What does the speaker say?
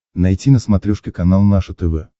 найти на смотрешке канал наше тв